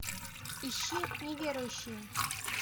ищи неверующие